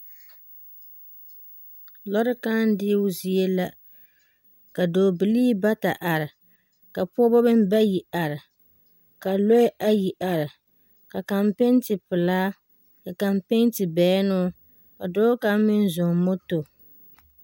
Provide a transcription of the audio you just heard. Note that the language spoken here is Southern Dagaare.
Lɔrɛ kãã deo zie la ka bidɔɔ bilii bata are. Ka pɔbɔ meŋ bayi are, ka lɔɛ ayi are, ka kaŋ pente pelaa, ka kaŋ pente bɛnnoo, ka dɔɔ kaŋ meŋ zɔŋ moto.